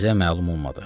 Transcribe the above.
Bizə məlum olmadı.